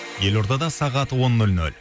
елордада сағат он нөл нөл